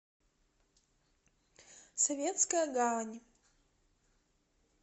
советская гавань